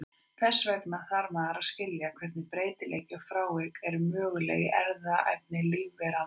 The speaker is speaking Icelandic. Þess vegna þarf maður að skilja hvernig breytileiki og frávik eru möguleg í erfðaefni lífveranna.